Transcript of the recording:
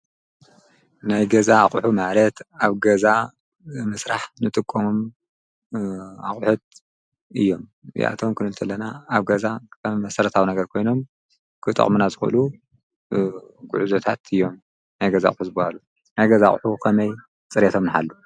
ናይ ገዛ ኣቁሑት ማለት ኣብ ገዛ ንምስራሕ ንጥቀሞም ኣቁሑት እዮም። እዚኣቶም ክንብል ከለና ኣብ ገዛ ከም መሰረታዊ ነገር ኮይኖም ክጠቅሙና ዝክእሉ ጉዕዞታት እዮም። ናይ ገዛ ኣቁሑ ዝበሃሉ። ናይ ገዛ ኣቁሑ ከመይ ፅሬቶም ንሓሉ ?